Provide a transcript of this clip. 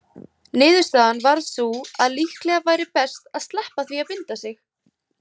Niðurstaðan varð sú að líklega væri best að sleppa því að binda sig.